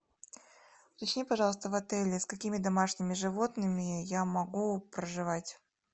уточни пожалуйста в отеле с какими домашними животными я могу проживать